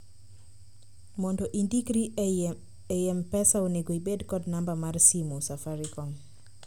mondo indikri ei mpesa onego ibed kod namba mar simu safaricom